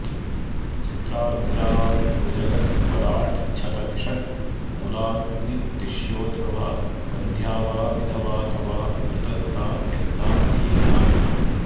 चित्रार्द्राभुजगस्वराट्च्छतभिषङ् मूलाग्नितिष्योद्भवा वन्ध्या वा विधवाथवा मृतसुता त्यक्ता प्रियेणाधना